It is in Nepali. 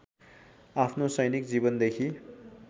आफ्नो सैनिक जीवनदेखि